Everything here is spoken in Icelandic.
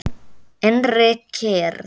Innri kyrrð.